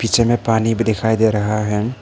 पीछे में पानी भी दिखाई दे रहा है।